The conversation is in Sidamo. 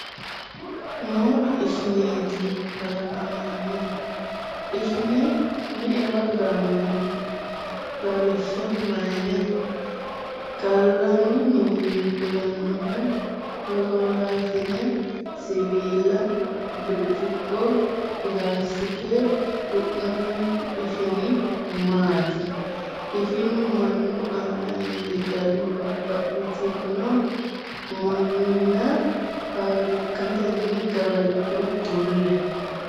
Moola ishineeti kalaqamanno? Ishine me’ewa gaammanni? Lawishsha, Mayne? Gallanni mininni fulannohu sholoolaasine, siwiilla birciqqo, pilaastikete du’namaanchu ishini maati? Ishinu mannu aana iillishshanno babbaxxitino minnanni, faafirikkatenni, gawajjo kulle?